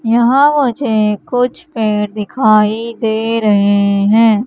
यहां मुझे कुछ पेड़ दिखाई दे रहे हैं।